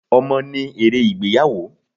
Ọmọ ni ère ìgbéyàwó.